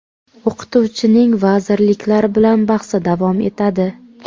O‘qituvchining vazirliklar bilan bahsi davom etadi.